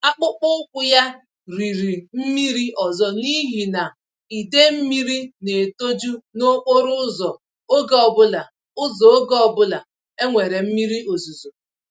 Akpụkpọ ụkwụ ya riri mmiri ọzọ n'ihi na idee mmírí n'etoju nokporo ụzọ ógè obula ụzọ ógè obula enwere mmiri ozuzo